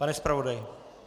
Pane zpravodaji...